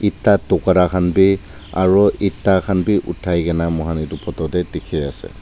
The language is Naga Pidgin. eta tokura khan bi aru eta khan bi uthaikena moikhan etu photo te dikhi ase.